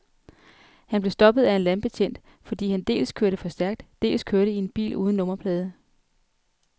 Han blev stoppet af en landbetjent, fordi han dels kørte for stærkt, dels kørte i en bil uden nummerplader.